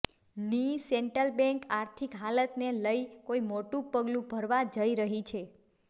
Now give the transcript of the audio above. ની central bank આર્થિક હાલતને લઇ કોઇ મોટું પગલું ભરવા જઇ રહી છે